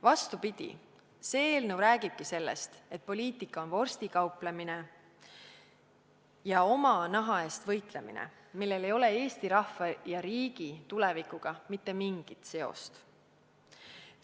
Vastupidi, see eelnõu räägib sellest, et poliitika on vorstikauplemine ja oma naha hoidmine, millel ei ole Eesti rahva ja riigi tulevikuga mitte mingit seost.